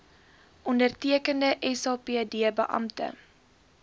ondertekende sapd beampte